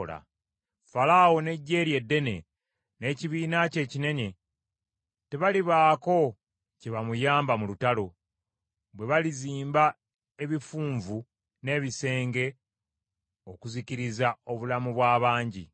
Falaawo n’eggye lye eddene, n’ekibiina kye ekinene, tebalibaako kye bamuyamba mu lutalo, bwe balizimba ebifunvu n’ebisenge okuzikiriza obulamu bw’abangi.